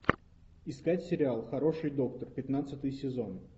искать сериал хороший доктор пятнадцатый сезон